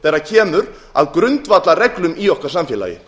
síbrotaríkisstjórn þegar kemur að grundvallarreglum í okkar samfélagi